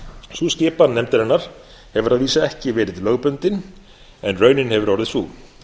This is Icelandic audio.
sú skipan nefndarinnar hefur að vísu ekki verið lögbundin en raunin hefur orðið sú